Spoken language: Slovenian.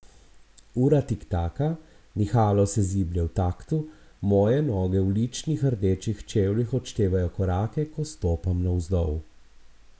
Ura tiktaka, nihalo se ziblje v taktu, moje noge v ličnih rdečih čevljih odštevajo korake, ko stopam navzdol.